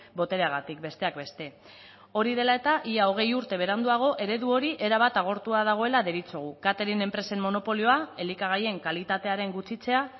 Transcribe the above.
botereagatik besteak beste hori dela eta ia hogei urte beranduago eredu hori erabat agortua dagoela deritzogu catering enpresen monopolioa elikagaien kalitatearen gutxitzea